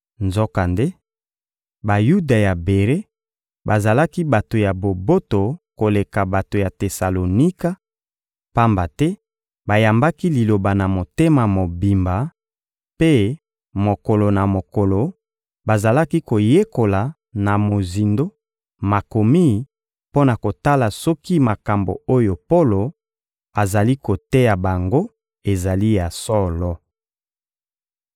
Nzokande, Bayuda ya Bere bazalaki bato ya boboto koleka bato ya Tesalonika, pamba te bayambaki Liloba na motema mobimba mpe, mokolo na mokolo, bazalaki koyekola na mozindo Makomi mpo na kotala soki makambo oyo Polo azali koteya bango ezali ya solo.